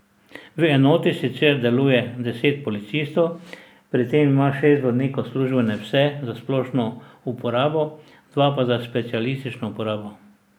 V enoti sicer deluje deset policistov, pri tem ima šest vodnikov službene pse za splošno uporabo, dva pa za specialistično uporabo.